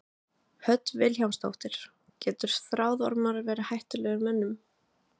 Hödd Vilhjálmsdóttir: Geta þráðormar verið hættulegir mönnum?